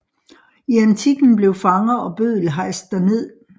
I antikken blev fanger og bøddel hejst derned